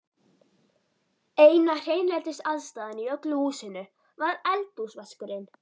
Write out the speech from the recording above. Eina hreinlætisaðstaðan í öllu húsinu var eldhúsvaskurinn.